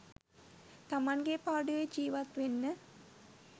තමන්ගේ පාඩුවේ ජීවත් වෙන්න.